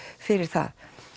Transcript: fyrir það